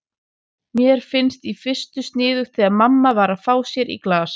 Mér fannst í fyrstu sniðugt þegar mamma var að fá sér í glas.